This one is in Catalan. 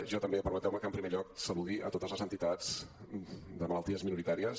jo també permeteu me que en primer lloc que saludi totes les entitats de malalties minoritàries